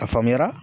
A faamuyara